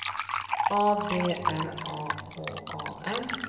A B R A H A M